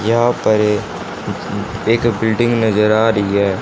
यहां पर ये एक बिल्डिंग नजर आ रही है।